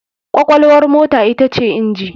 Kwakwalwar mota ita ce inji.